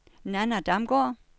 Nanna Damgaard